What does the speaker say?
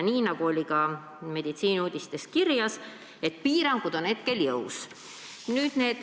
Ja Meditsiiniuudistes oli kirjas, et piirangud on hetkel jõus.